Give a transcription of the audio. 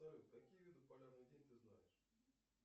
салют какие виды полярный день ты знаешь